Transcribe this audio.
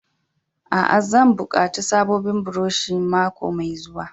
Aa, zan yi bukatan sabobin buroshi mako mai zuwa.